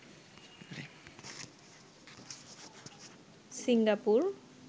Singapore